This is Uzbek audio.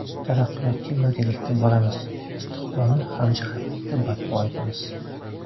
Taraqqiyotga birgalikda boramiz, istiqbolni hamjihatlikda barpo etamiz!